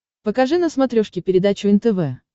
покажи на смотрешке передачу нтв